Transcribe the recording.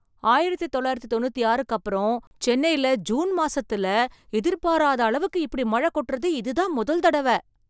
ஆயிரத்து தொள்ளாயிரத்து தொண்ணூத்தி ஆறுக்கு அப்புறம் சென்னைல ஜூன் மாசத்துல எதிர்பாராத அளவுக்கு இப்படி மழ கொட்டுறது இதுதான் முதல் தடவ.